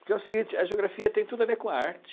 Porque é o seguinte, a geografia tem tudo a ver com a arte.